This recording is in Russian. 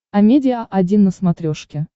амедиа один на смотрешке